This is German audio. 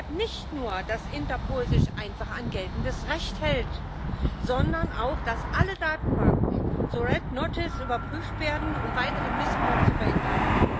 Wir fordern deshalb nicht nur, dass Interpol sich einfach an geltendes Recht hält, sondern auch dass alle Datenbanken zu überprüft werden, um weiteren Missbrauch zu verhindern.